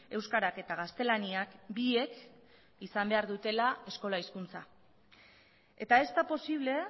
euskarak eta gaztelaniak biek izan behar dutela eskola hizkuntza eta ez da posible